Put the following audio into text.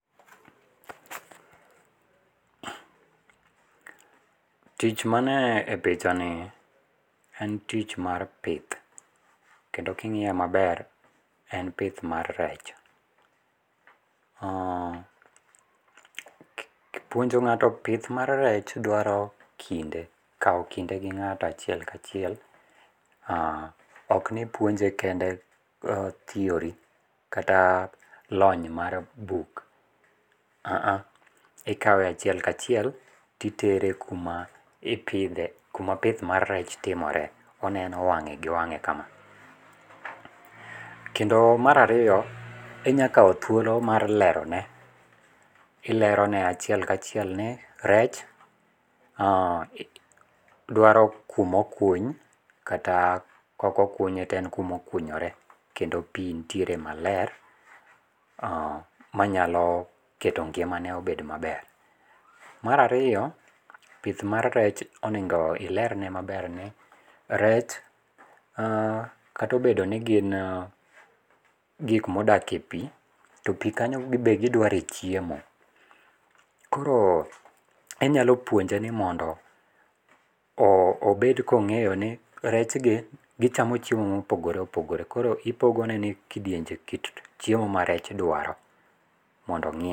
Tich mane e pichanie en tich mar pith, kendo king'iye maber en pith mar rech. Puonjo ng'ato pith mar rech dwaro kinde, kawo kinde gi ng'ato achiel ka chiel ok ni ipyonje kende theory kata lony mar buk, aa, ikawe achiel kachiel titere kuma kuma ipithe kuma pith mar rech timore, oneno wang'e gi wang'e kama, kendo mar ariyo inyalo kawo thuolo mar lerone, ilerone achiel kachiel ni rech dwaro kuma okuny kata ka okokunye to en kuma okunyore kendo pi nitiere maler manyalo keto ng'imane obed maber. Mar ariyo pith mar rech onigo olerne maber ni rech kata obedo ni gin gik ma odakie pi, to pi kanyo be gidwaro e chiemo koro inyalo puonje ni mondo obed kong'eyo ni rechgi gichamo chiemo mopogore opogore koro ipogone ni kit kidienje ma rech dwaro mondo ong'e.